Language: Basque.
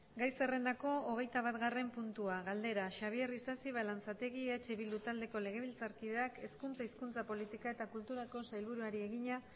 gai zerrendako hogeitabatgarren puntua galdera xabier isasi balanzategi eh bildu taldeko legebiltzarkideak hezkuntza hizkuntza politika eta kulturako sailburuari egina